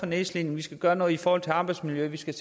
nedslidte vi skal gøre noget for arbejdsmiljøet vi skal